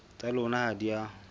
tsa lona ha di a